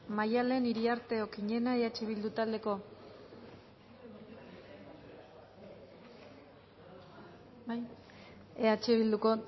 maddalen iriarte okiñena eh bildu